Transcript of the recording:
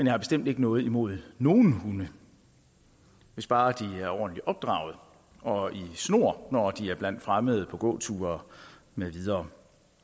har bestemt ikke noget imod nogen hunde hvis bare de er ordentligt opdraget og i snor når de er blandt fremmede på gåture med videre